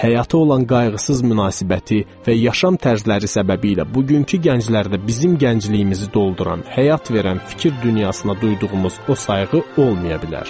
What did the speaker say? Həyata olan qayğısız münasibəti və yaşam tərzləri səbəbilə bugünkü gənclərdə bizim gəncliyimizi dolduran, həyat verən fikir dünyasına duyduğumuz o sayğı olmaya bilər.